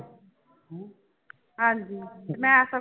ਹਾਂਜੀ ਤੇ ਮੈਂ ਤਾਂ